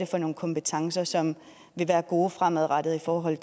for nogle kompetencer som vil være gode fremadrettet i forhold